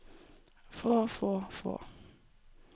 få få få